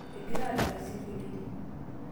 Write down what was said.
egira adala esinkolioni